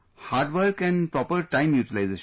Hard work and proper time utilization